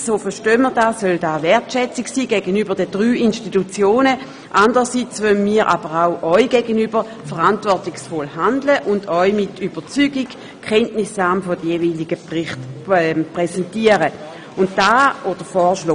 Dies soll nach unserem Verständnis einerseits die Wertschätzung der drei Institutionen ausdrücken, anderseits wollen wir aber auch Ihnen gegenüber verantwortungsvoll handeln und Ihnen mit Überzeugung die Kenntnisnahme der jeweiligen Berichte empfehlen.